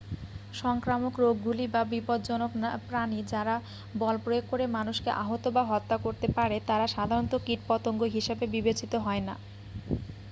সংক্রামক রোগগুলি বা বিপজ্জনক প্রাণী যারা বল প্রয়োগ করে মানুষকে আহত বা হত্যা করতে পারে তারা সাধারণত কীটপতঙ্গ হিসাবে বিবেচিত হয় না